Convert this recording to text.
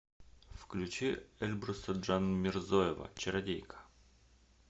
включи эльбруса джанмирзоева чародейка